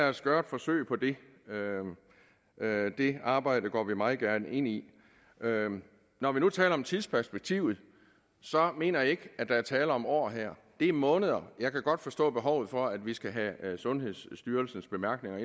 os gøre et forsøg på det det arbejde går vi meget gerne ind i når vi nu taler om tidsperspektivet mener jeg ikke at der er tale om år her det er måneder jeg kan godt forstå behovet for at vi skal have sundhedsstyrelsens bemærkninger